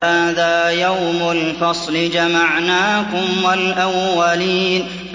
هَٰذَا يَوْمُ الْفَصْلِ ۖ جَمَعْنَاكُمْ وَالْأَوَّلِينَ